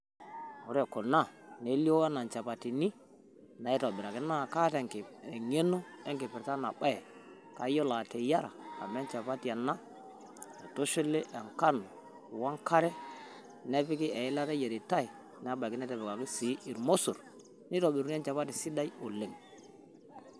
Ore kuna nelioo enaa nchapatini naitobiraki, naa kaata eng`eno enkipirta ena baye kayiolo ateyiara amu enchapati ena naitushuli enkano o enkare nepiki eilata e yiaritai. Nebaiki netipikaki sii ilmosorr neitobirri enchapati sidai oleng.